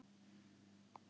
Mæli með Gröf sem gleður.